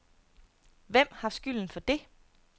Hvem har skylden for det?